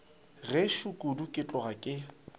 gešo kudu ke tloga ke